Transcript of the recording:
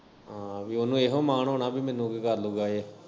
ਹਾਂ ਪੀ ਉਨੂੰ ਏਹੀ ਮਾਨ ਹੁਨਾ ਕੀ ਮੈਨੂੰ ਕੀ ਕਰਲੂਗਾਂ ਏਹ।